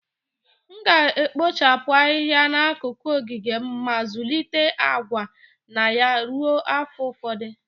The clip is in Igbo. M ga-ekpochapụ Ahịhịa n'akụkụ ogige m ma zụlite agwa na ya ruo afọ ụfọdụ